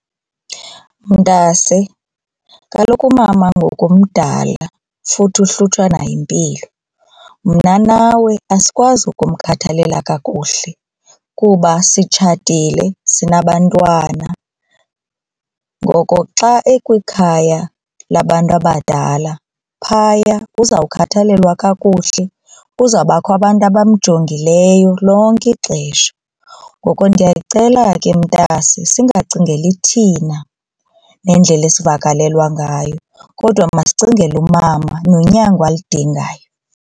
Mntase kaloku umama ngoku mdala futhi uhlutshwa nayimpilo. Mna nawe asikwazi ukumkhathalela kakuhle kuba sitshatile sinabantwana ngoko xa ekwikhaya labantu abadala phaya uzawukhathalelwa kakuhle kuzawubakho abantu abamjongileyo lonke ixesha. Ngoko ndiyacela ke mntase singacingeli thina nendlela esivakalelwa ngayo kodwa masicinge umama nonyango alidingayo.